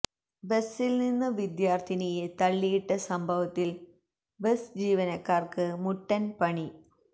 ബസില് നിന്ന് വിദ്യാര്ത്ഥിനിയെ തള്ളിയിട്ട സംഭവത്തില് ബസ് ജീവനക്കാര്ക്ക് മുട്ടൻ പണി